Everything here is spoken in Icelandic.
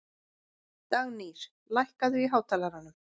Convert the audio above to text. Dagnýr, lækkaðu í hátalaranum.